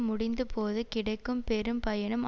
முடிந்த போது கிடைக்கும் பெரும்பயனும்